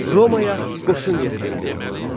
Romaya qoşun yeridildi.